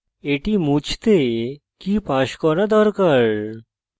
এখন এটি মুছতে key pass করা দরকার